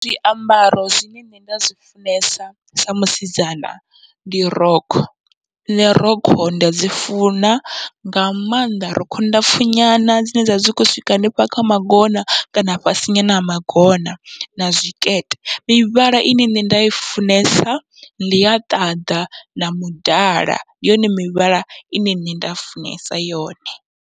Zwiambaro zwine nṋe nda zwi funesa sa musidzana ndi rokho, nṋe rokho nda dzi funa nga maanḓa rokho ndapfhu nyana dzine dzavha dzi kho swika hanefha kha magona kana fhasi nyana ha magona, na zwikete mivhala ine nṋe nda i funesa ndi ya ṱaḓa na mudala, ndi yone mivhala ine nṋe nda i funesa yone.